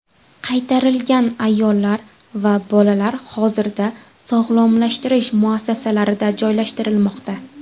Qaytarilgan ayollar va bolalar hozirda sog‘lomlashtirish muassasalarida joylashtirilmoqda.